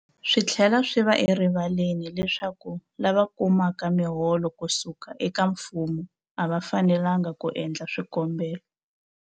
Swi tlhela swi va erivaleni leswaku lava kumaka miholo ku suka eka mfumo a va fanelanga ku endla swikombelo.